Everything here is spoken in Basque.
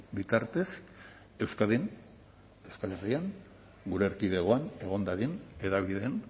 bitartez euskadin euskal herrian gure erkidegoan egon dadin hedabideen